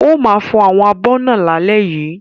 Ó ma fò àwọn abọ̀ náà lálẹ́ yìí.